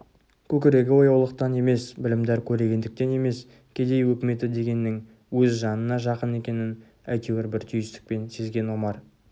көкірегі ояулықтан емес білімдар көрегендіктен емес кедей өкіметі дегеннің өз жанына жақын екенін әйтеуір бір түйсікпен сезген омар